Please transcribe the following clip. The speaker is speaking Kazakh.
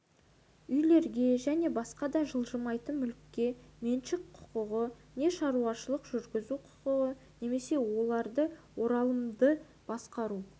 үйлерге және басқа да жылжымайтын мүлікке меншік құқығы не шаруашылық жүргізу құқығы немесе оларды оралымды басқару